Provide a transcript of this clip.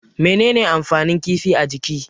Mene ne amfanin kifi a jiki?